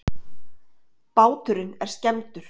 Báturinn er skemmdur